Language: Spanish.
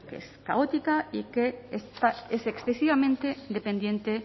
que es caótica y que es excesivamente dependiente